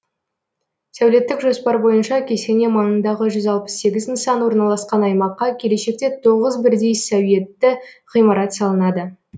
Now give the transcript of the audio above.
сәулеттік жоспар бойынша кесене маңындағы жүз алпыс сегіз нысан орналасқан аймаққа келешекте тоғыз бірдей сәуетті ғимарат салынады